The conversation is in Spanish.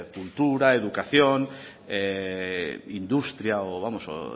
cultura educación industria o